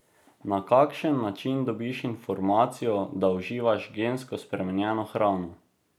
Na kakšen način dobiš informacijo, da uživaš gensko spremenjeno hrano?